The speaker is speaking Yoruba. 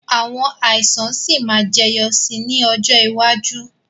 Àwọn àìsàn sì máa jẹyọ sì ni ọjọ́ iwájú